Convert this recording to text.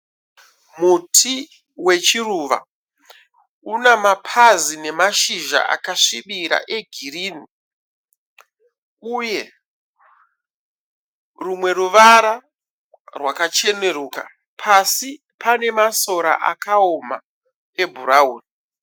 Muti wechiruva. Una mapazi nemashizha akasvibira e girinhi. Uye rumwe ruvara rwakacheneruka. Pasí pane masora akaoma e bhurauni.